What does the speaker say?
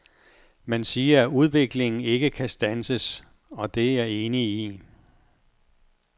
Man siger, at udviklingen ikke kan standses, og det er jeg enig i.